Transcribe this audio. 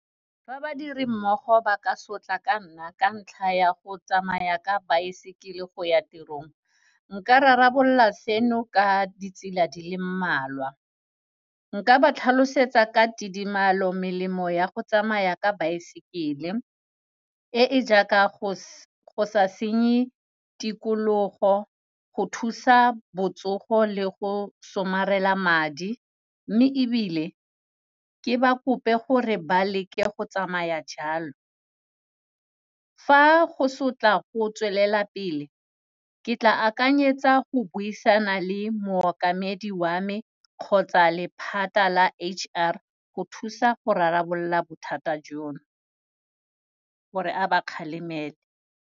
Fa badiri mmogo ba ka sotla ka nna ka ntlha ya go tsamaya ka baesekele go ya tirong, nka rarabolola seno ka ditsela di le mmalwa, nka ba tlhalosetsa ka tidimalo melemo ya go tsamaya ka baesekele, e e jaaka, go sa senye tikologo, go thusa botsogo le go somarela madi. Mme ebile, ke ba kope gore ba leke go tsamaya jalo. Fa go sotla go tswelela pele, ke tla akanyetsa go buisana le mookamedi wa me, kgotsa lephata la H_R go thusa go rarabolola bothata jono, gore a ba kgalemele.